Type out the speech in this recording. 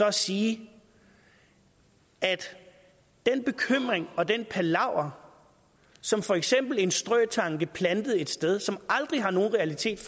at sige at den bekymring og den palaver som for eksempel en strøtanke plantet et sted som aldrig har nogen realitet